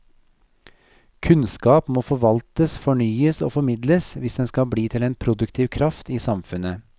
Kunnskap må forvaltes, fornyes og formidles hvis den skal bli til en produktiv kraft i samfunnet.